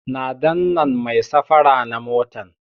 Na dannan mai safara na motan